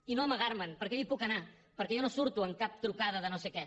i no amagar me’n perquè jo hi puc anar perquè jo no surto en cap trucada de no sé què